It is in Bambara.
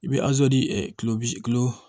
I bɛ di ɛ kilo bi kilo